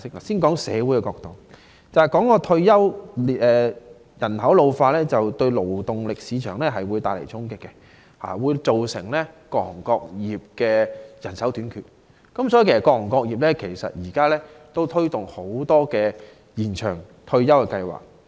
先談社會方面，提到退休，人口老化會對勞動力市場帶來衝擊，造成人手短缺，所以各行各業現時都推動多項延長退休計劃。